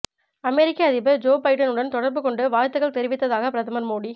அமெரிக்க அதிபர் Joe Biden உடன் தொடர்பு கொண்டு வாழ்த்துகள் தெரிவித்ததாக பிரதமர் மோடி